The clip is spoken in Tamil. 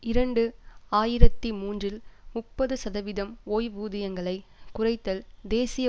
இரண்டு ஆயிரத்தி மூன்றில் முப்பது சதவிதம் ஓய்வூதியங்களைக் குறைத்தல் தேசிய